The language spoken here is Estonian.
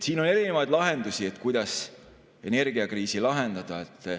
Siin on erinevaid lahendusi, kuidas energiakriisi lahendada.